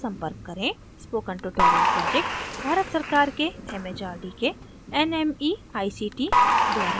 spoken tutorial project भारत सरकार के mhrd के nmeict निधिबद्ध है